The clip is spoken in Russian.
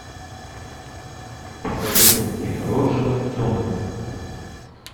посоветуй мне роджера дональдсона